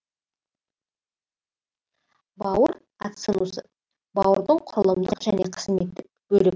бауыр ацинусы бауырдың құрылымдық және қызметтік бөлігі